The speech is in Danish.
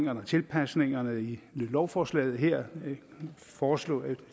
af tilpasningerne i lovforslaget her foreslås